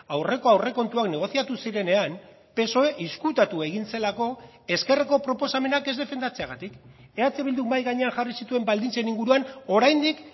aurreko aurrekontuak negoziatu zirenean psoe ezkutatu egin zelako ezkerreko proposamenak ez defendatzeagatik eh bilduk mahai gainean jarri zituen baldintzen inguruan oraindik